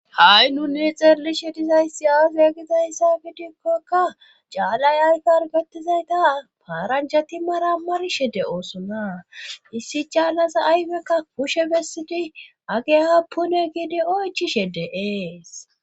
Ha7i nuni xerlishe dizayssi aafe gizayssa gidikkokka caalay aykargatizayta paarancha ti mara marshe de oosona issi caalaza ayfekka pushe bessidi age ha pune giidi oychishe de7ees.